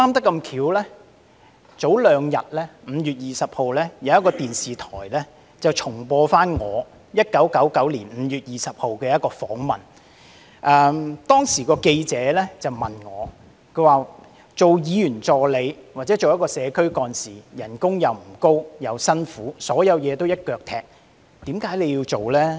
剛好在數天前，有電視台重播我在1999年5月20日接受的一個訪問，當時記者問我，擔任議員助理或社區幹事的薪酬不高並且辛苦，所有事情都要"一腳踢"，為何我仍要做呢？